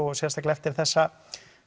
og sérstaklega eftir þessa